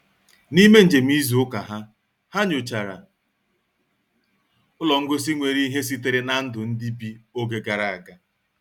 N'ime njem izu ụka ha, ha nyochara ụlọ ngosi nwere ihe sitere na ndụ ndị bi oge gara aga.